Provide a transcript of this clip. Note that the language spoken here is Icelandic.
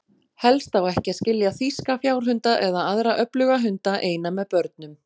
Helst á ekki að skilja þýska fjárhunda, eða aðra öfluga hunda, eina með börnum.